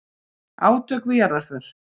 Átök við jarðarför